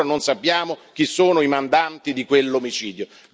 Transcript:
Ancora non sappiamo chi sono i mandanti di quell'omicidio.